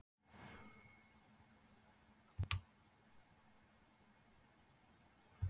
Landshöfðingi hafði verið þessu fremur meðmæltur í sumar.